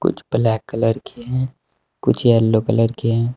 कुछ black colour के हैं कुछ येलो कलर के हैं।